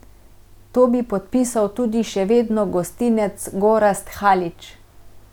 To bi podpisal tudi še vedno gostinec Gorazd Halič.